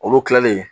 Olu kilalen